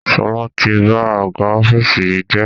Sọlá tí ba àga ọ́fíìsì yìí jẹ́